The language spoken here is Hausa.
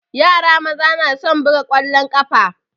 Yara maza na son buga ƙwalon ƙafa